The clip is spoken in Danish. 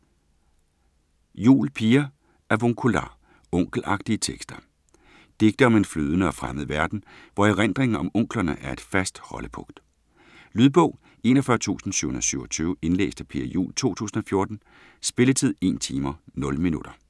Juul, Pia: Avuncular: onkelagtige tekster Digte om en flydende og fremmed verden, hvor erindringen om "onklerne" er et fast holdepunkt. Lydbog 41727 Indlæst af Pia Juul, 2014. Spilletid: 1 timer, 0 minutter.